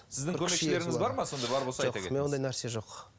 сіздің көмекшілеріңіз бар ма сонда бар болса менде ондай нәрсе жоқ